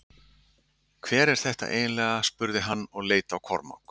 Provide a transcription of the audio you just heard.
Hver er þetta eiginleg spurði hann og leit á Kormák.